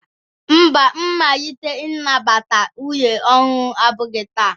Mba, mmalite nnabata nwunye ọhụrụ abụghị taa.